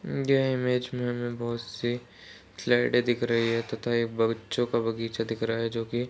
ये इमेज में हमें बहोत सी स्लाइडे दिख रही हैं तथा ये बच्चों का बगीचा दिख रहा है जो की --